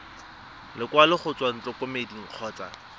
lekwalo go tswa ntlokemeding kgotsa